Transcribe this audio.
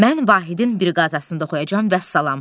Mən Vahidin briqadasında oxuyacam, vəssalam.